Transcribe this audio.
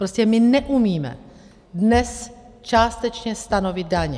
Prostě my neumíme dnes částečně stanovit daň.